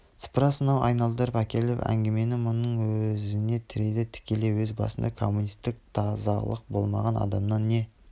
сыпыра сынау айналдырып әкеліп әңгімені мұның өзіне тірейді тікелей өз басында коммунистік тазалық болмаған адамнан не